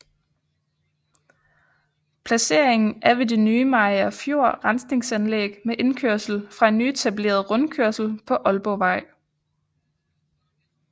Placeringen er ved det nye Mariagerfjord Rensningsanlæg med indkørsel fra en nyetableret rundkørsel på Ålborgvej